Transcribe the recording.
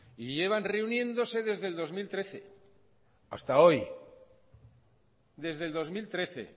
y llevan reuniéndose desde el dos mil trece hasta hoy desde el dos mil trece